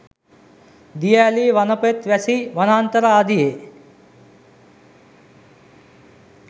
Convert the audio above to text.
දිය ඇලී වනපෙත් වැසි වනාන්තර ආදියේ